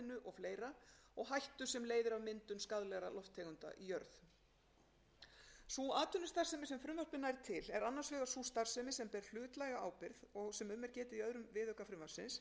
og fleira og hættu sem leiðir af myndun skaðlegra lofttegunda í jörð sú atvinnustarfsemi sem frumvarpið nær til er annars vegar sú starfsemi sem ber hlutlæga ábyrgð og sem um er getið í öðrum viðauka frumvarpsins er þar meðal annars um að ræða leyfisskylda starfsemi